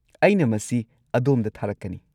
ꯑꯩꯅ ꯃꯁꯤ ꯑꯗꯣꯝꯗ ꯊꯥꯔꯛꯀꯅꯤ꯫